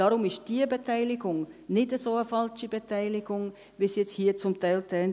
Deshalb ist diese Beteiligung nicht eine so falsche Beteiligung, wie es jetzt hier zum Teil klang.